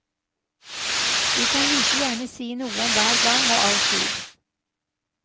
De kan like gjerne si noe om hver gang og all tid.